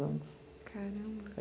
Caramba!